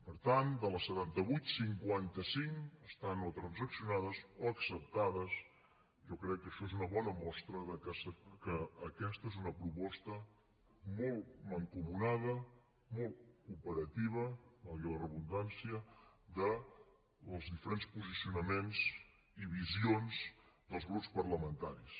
per tant de les setanta vuit cinquanta cinc estan o transaccionades o acceptades jo crec que és una bona mostra de que aquesta és una proposta molt mancomunada molt cooperativa valgui la redundància dels diferents posicionaments i visions dels grups parlamentaris